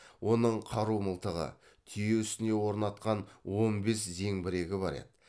оның қару мылтығы түйе үстіне орнатқан он бес зеңбірегі бар еді